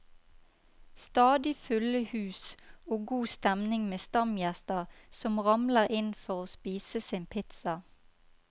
Stadig fulle hus og god stemning med stamgjester som ramler inn for å spise sin pizza.